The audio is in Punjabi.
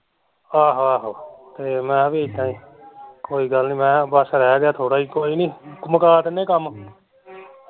ਆਹੋ ਆਹੋ ਤੇ ਮੈਂ ਵੀ ਏਦਾਂ ਈ ਕੋਈ ਗੱਲ ਨੀ, ਰੇਹ ਗਿਆ ਥੋੜਾ ਹੀ ਕੋਈ ਨੀ ਬਸ ਮੁਕਾ ਦੇਨੇ ਆ ਕੰਮ